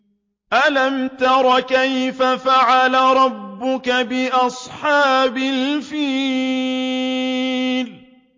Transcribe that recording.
أَلَمْ تَرَ كَيْفَ فَعَلَ رَبُّكَ بِأَصْحَابِ الْفِيلِ